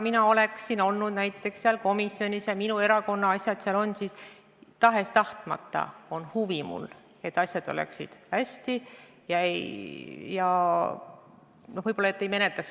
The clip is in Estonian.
Kui mina oleksin selles komisjonis ja minu erakonna asjad oleksid seal arutusel, siis tahes-tahtmata oleks mul huvi, et asjad oleksid hästi ja võib-olla neid ei menetletaks.